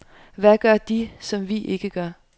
Hvad gør de, som vi ikke gør?